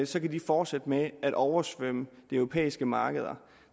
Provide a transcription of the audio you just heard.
så kan de fortsætte med at oversvømme de europæiske markeder